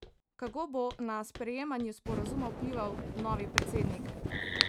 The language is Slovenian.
Kako bo na sprejemanje sporazuma vplival novi predsednik?